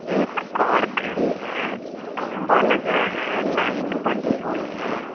एक कार खड़ी है खंभा लगा है लाइन बंधी हुई है।